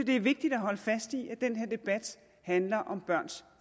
det er vigtigt at holde fast i at den her debat handler om børns